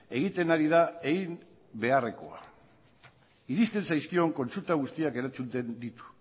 egiten ari da egin beharrekoa iristen zaizkion kontsulta guztiak erantzuten ditu